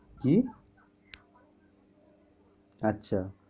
কী? আচ্ছা।